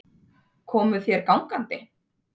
Komuð þér gangandi?